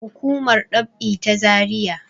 hukumar dab`i ta zariya